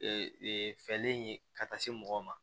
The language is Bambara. Ee fɛlen ye ka taa se mɔgɔ ma